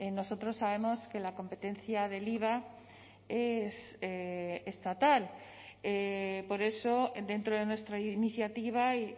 nosotros sabemos que la competencia del iva es estatal por eso dentro de nuestra iniciativa